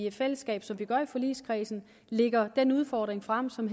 i fællesskab som vi gør i forligskredsen lægger den udfordring frem som